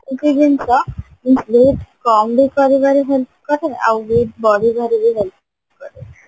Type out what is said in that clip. ଗୋଟେ ଜିନିଷ ମୁଁ weight କମ ବି କରିବାର help କରେ ଆଉ weight ବଢେଇବାରେ ବି help କରେ